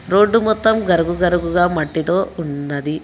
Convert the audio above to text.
Road మొత్తం గరుగు గరుగుగా మట్టితో ఉన్నది.